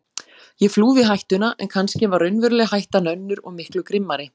Ég flúði hættuna en kannski var raunverulega hættan önnur og miklu grimmari.